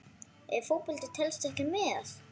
Ef Fótbolti telst ekki með?